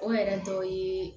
O yɛrɛ dɔ ye